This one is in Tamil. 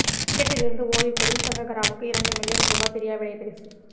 கிரிக்கெட்டிலிருந்து ஓய்வு பெறும் சங்கக்காரவுக்கு இரண்டு மில்லியன் ரூபா பிரியாவிடைப் பரிசு